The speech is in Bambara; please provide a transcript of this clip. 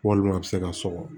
Walima a bɛ se ka sɔgɔ